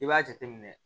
I b'a jateminɛ